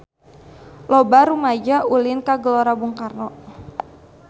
Loba rumaja ulin ka Gelora Bung Karno